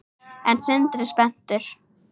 Er Sindri spenntur?